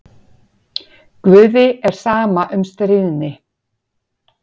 Guði er sama um stríðni.